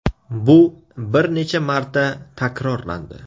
Bu bir necha marta takrorlandi.